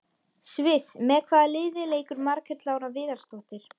Sviss Með hvaða liði leikur Margrét Lára Viðarsdóttir?